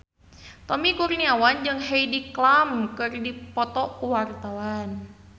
Tommy Kurniawan jeung Heidi Klum keur dipoto ku wartawan